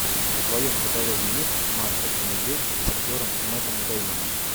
в твоем каталоге есть маша и медведь с актером мэттом дэймоном